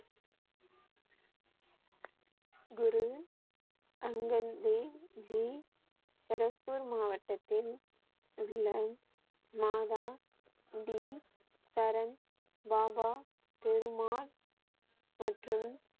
குரு அங்கன் தேவ் ஜி கருப்பூர் மாவட்டத்தின் உள்ள மாதா டி சரன், பாபா பெருமாள் மற்றும்